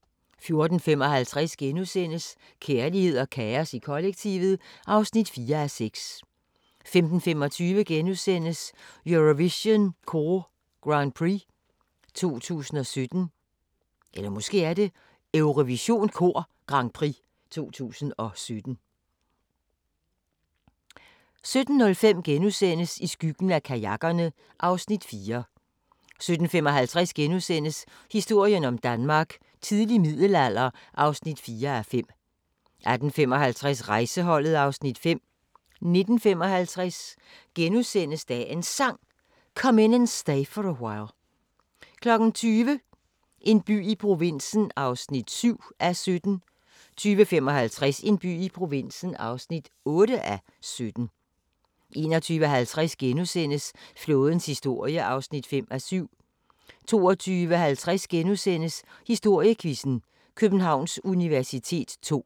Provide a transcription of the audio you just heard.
14:55: Kærlighed og kaos i kollektivet (4:6)* 15:25: Eurovision Kor Grand Prix 2017 * 17:05: I skyggen af kajakkerne (Afs. 4)* 17:55: Historien om Danmark: Tidlig middelalder (4:5)* 18:55: Rejseholdet (Afs. 5) 19:55: Dagens Sang: Come In And Stay For A While * 20:00: En by i provinsen (7:17) 20:55: En by i provinsen (8:17) 21:50: Flådens historie (5:7)* 22:50: Historiequizzen: Københavns universitet ll *